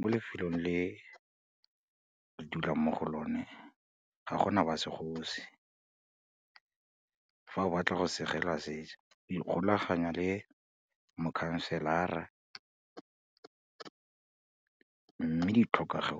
mo lefelong le ke dulang mo go lone, ga gona ba segosi, fa o batla go segelwa o ikgolaganya le mokhanselara, mme di tlhokego